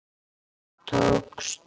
Það tókst!